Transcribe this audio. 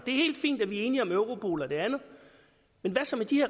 er helt fint at vi er enige om europol og det andet men hvad så med de